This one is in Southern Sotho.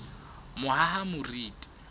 mohahamoriti